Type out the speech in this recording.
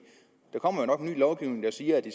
ny lovgivning der siger at de